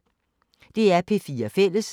DR P4 Fælles